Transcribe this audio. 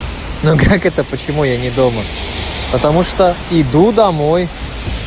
ну как это почему я не дома потому что иду домой